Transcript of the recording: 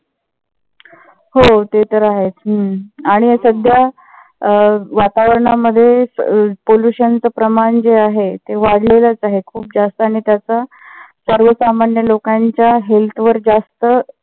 हो ते तर आहेच. आणि सध्या अं वातावरणामध्ये pollution चा प्रमाण जे आहे ते वाढलेलेच आहे. खूप जास्त आणि त्याचा सर्व सामान्य लोकांच्या health वर जास्त